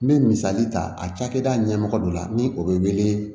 N bɛ misali ta a cakɛda ɲɛmɔgɔ dɔ la ni o bɛ wele